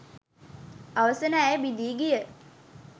අවසන ඇය බිඳී ගිය